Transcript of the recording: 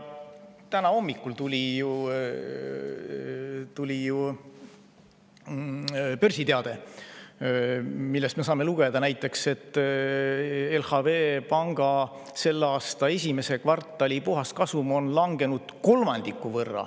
Täna hommikul tuli ju börsiteade, millest me saame lugeda, et LHV Panga selle aasta esimese kvartali puhaskasum on langenud kolmandiku võrra …